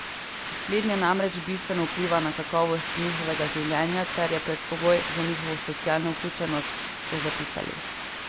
Slednje namreč bistveno vpliva na kakovost njihovega življenja ter je predpogoj za njihovo socialno vključenost, so zapisali.